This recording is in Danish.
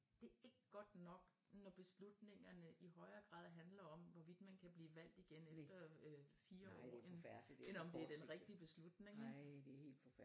Det ikke godt nok når beslutningerne i højere grad handler om hvorvidt man kan blive valgt igen efter øh 4 år end end om det er den rigtige beslutning